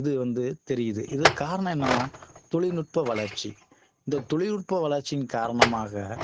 இது வந்து தெரியுது இதற்கு காரணம் என்னன்னா தொழில்நுட்ப வளர்ச்சி இந்த தொழில்நுட்ப வளர்ச்சியின் காரணமாக